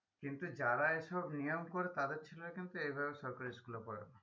কিন্তু যারা এসব নিয়ম করে তাদের ছেলে কিন্তু এভাবে সরকারি school এ পড়ে না